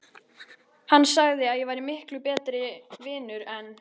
Hann sagði að ég væri miklu betri vinur en